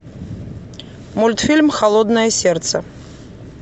мультфильм холодное сердце